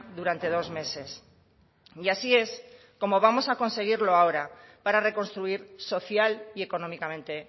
durante dos meses y así es como vamos a conseguirlo ahora para reconstruir social y económicamente